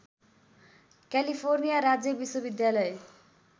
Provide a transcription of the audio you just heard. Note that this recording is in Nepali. क्यालिफोर्निया राज्य विश्वविद्यालय